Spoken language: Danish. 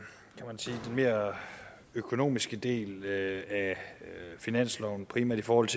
mere økonomiske del af finansloven primært i forhold